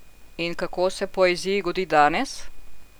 In kako se poeziji godi danes?